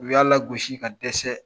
U y'a lagosi ka dɛsɛ.